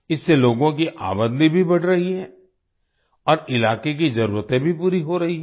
इससे लोगों की आमदनी भी बढ़ रही है और इलाके की जरूरतें भी पूरी हो रहीं हैं